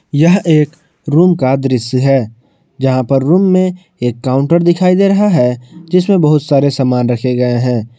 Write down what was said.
यह एक रूम का दृश्य है जहां पर रूम में एक काउंटर दिखाई दे रहा है जिसमें बहुत सारे सामान रखे गए हैं।